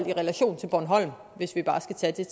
i relation til bornholm hvis vi bare skal tage